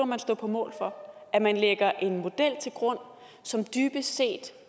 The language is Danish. man stå på mål for at man lægger en model til grund som dybest set